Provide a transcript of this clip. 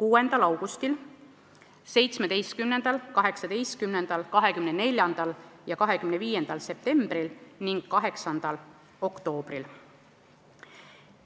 6. augustil, 17., 18., 24. ja 25. septembril ning 8. oktoobril.